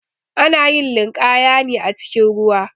Ana yin linƙaya ne acikin ruwa.